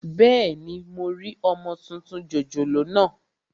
Bẹ́ẹ̀ni, mo rí ọmọ tuntun jòjòló naa